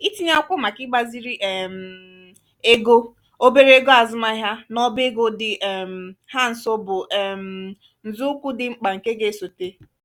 itinye akwụkwọ màkà igbaziri um ego obere ego azụmahịa n'ọbá ego dị um ha nso bụ um nzọụkwụ dị mkpa nke ga-esote.